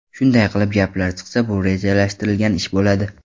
Shunday gaplar chiqsa, bu rejalashtirilgan ish bo‘ladi”.